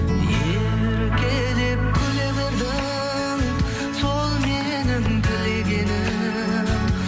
еркелеп күле бердің сол менің тілегенім